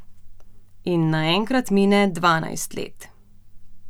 In naenkrat mine dvanajst let!